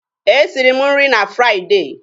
E siri mụ nri na Friday.